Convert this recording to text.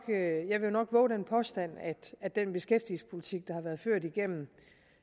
vove den påstand at den beskæftigelsespolitik der har været ført igennem